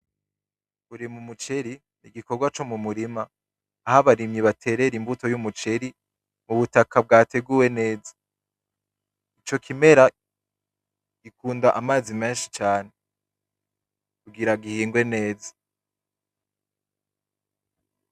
Kurima umuceri n'igikorwa co mu murima aho abarimyi baterera imbuto y'umuceri ku butaka bwateguwe neza, ico kimera gikunda amazi menshi cane kugira gihingwe neza.